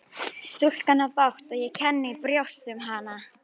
Stúlkan á bágt og ég kenni í brjósti um hana.